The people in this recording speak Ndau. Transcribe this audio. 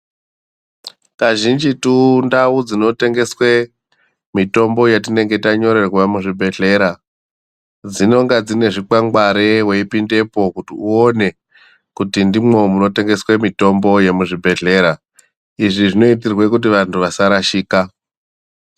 Kazhinjitu ndau dzinotengeswe mitombo yatinonge tanyorerwa muzvibhehleya dzinenga dzine zvikwangwari kuti wopinda uone ndimwo munotengeswa mitombo yemuzvibhehlera izvi zvinoita kuti vantu vasarashika.